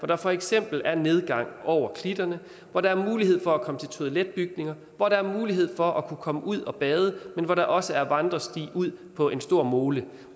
der for eksempel er nedgang over klitterne hvor der er mulighed for at komme til toiletbygninger hvor der er mulighed for at kunne komme ud og bade men hvor der også er vandresti ud på en stor mole